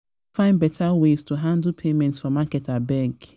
better ways to handle payment for market abeg